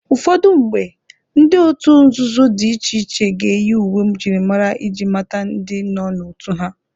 Ụfọdụ mgbe, ndị otu nzuzo dị iche iche ga-eyi uwe njirimara iji mata ndi nọ n'otu ha.